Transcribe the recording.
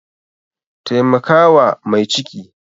Taimaka wa mai ciki!